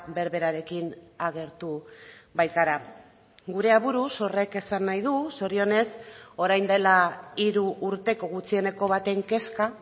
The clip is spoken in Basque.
berberarekin agertu baikara gure aburuz horrek esan nahi du zorionez orain dela hiru urteko gutxieneko baten kezka